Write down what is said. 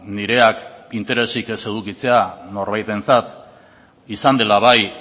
nireak interesik ez edukitzea norbaitentzat izan dela bai